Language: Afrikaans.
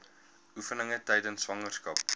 oefeninge tydens swangerskap